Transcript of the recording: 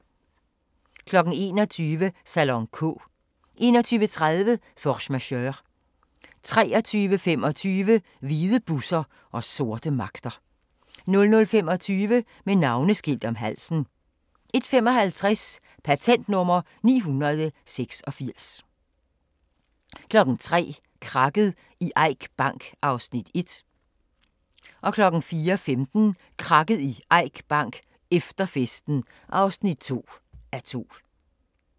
21:00: Salon K 21:30: Force Majeure 23:25: Hvide busser og sorte magter 00:25: Med navneskilt om halsen 01:55: Patent nr. 986 03:00: Krakket i Eik Bank (1:2) 04:15: Krakket i Eik Bank: Efter festen (2:2)